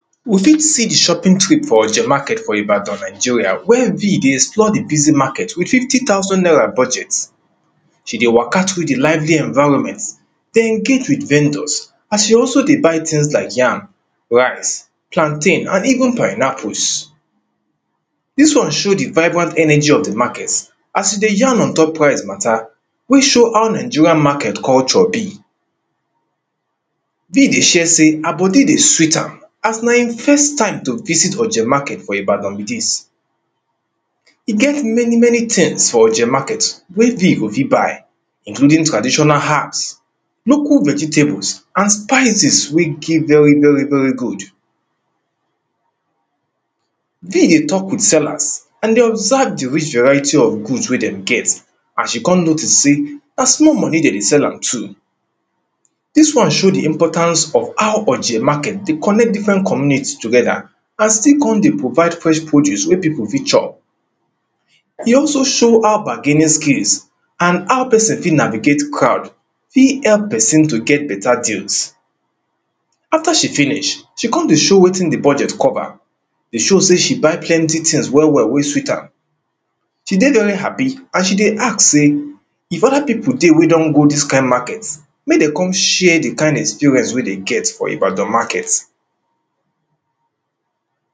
we fit see the shopping trip for oje market for Ibadan Nigeria wey vee dey explore the busy market with fifty thousand naira budget she dey waka through the lively enviroment dey engage with vendors as she also dey buy things like yam rice, plantain and even pineapples this one show the vibrant ernergy of the market as she dey yarn ontop price matter which show how Nigeria market culture be vee dey share say her body dey sweet am as na im first time to visit oje market for Ibadan be this. e get many many things for oje market wey vee go fit buy including traditional herbs local vegetables and spices wey dey very very good vee dey talk with sellers and dey observe the rich variety of food wey them get as she con notice say na small money dem dey sell am too this one show the importance of how oje market dey connect different community together and still go dey provide fresh produce wey pipo fit chop e also show how bargaining skills and how person take navigate crowd fit help person to get beta things. After she finish, she con dey show wetin the budget cover dey show say she buy plenty things well well wey sweet am. She dey very happy and she dey ask say if other pipo dey wey don go this kind market make dem con share the kind experience wey dey get from Ibadan market.